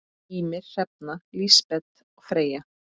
Ýmir, Hrefna og Lísbet Freyja.